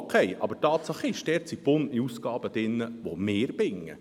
Okay, aber Tatsache ist, dass dort gebundene Ausgaben enthalten sind, welche wir binden.